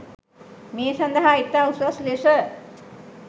මේ සඳහා ඉතා උසස් ලෙස